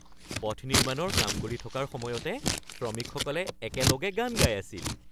পথ নিৰ্মাণৰ কাম কৰি থকাৰ সময়তে শ্ৰমিকসকলে একেলগে গান গাই আছিল।